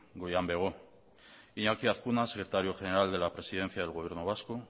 goian bego iñaki azkuna secretario general de la presidencia del gobierno vasco